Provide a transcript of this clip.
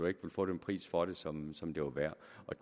ikke kunne få den pris for det som som det var værd